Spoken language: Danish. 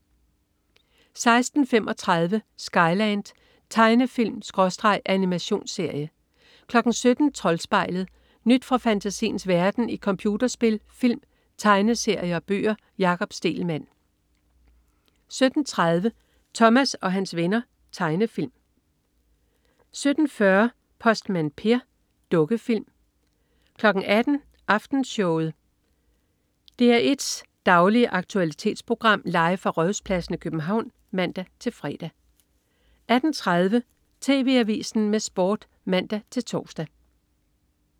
16.35 Skyland. Tegnefilm/animationsserie 17.00 Troldspejlet. Nyt fra fantasiens verden i computerspil, film, tegneserier og bøger. Jakob Stegelmann 17.30 Thomas og hans venner. Tegnefilm 17.40 Postmand Per. Dukkefilm 18.00 Aftenshowet. DR1's daglige aktualitetsprogram, live fra Rådhuspladsen i København (man-fre) 18.30 TV Avisen med Sport (man-tors)